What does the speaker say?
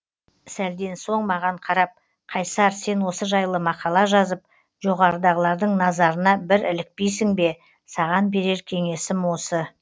сәлден соң маған қарап қайсар сен осы жайлы мақала жазып жоғарыдағылардың назарына бір ілікпейсің бе саған берер кеңесім осы